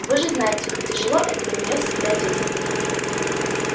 вы же знаете как тяжело это на неё всегда действует